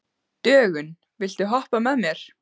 Dögun, viltu hoppa með mér?